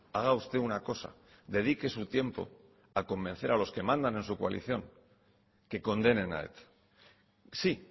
haga usted una cosa dedique su tiempo a convencer a los que mandan en su coalición que condenen a eta sí